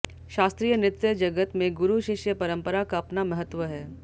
शास्त्रीय नृत्य जगत में गुरु शिष्य परंपरा का अपना महत्व है